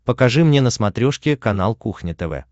покажи мне на смотрешке канал кухня тв